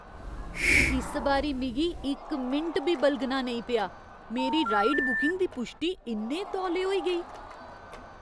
इस बारी मिगी इक मिंट बी बलगना नेईं पेआ। मेरी राइड बुकिंग दी पुश्टी इन्ने तौले होई गेई!